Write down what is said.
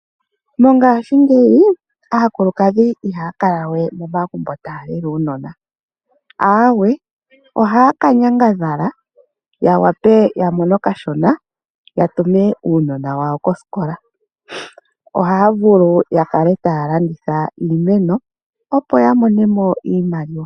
Mongashingeyi aakulukadhi ihaya kala we momagumbo taya lele uunona. Aawe, ohaya ka nyangadhala ya wape ya mone okashona ya tume uunona wawo kosikola. Ohaya vulu ya kale taya landitha iimeno, opo ya mone iimaliwa.